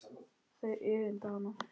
Þau öfunda hana.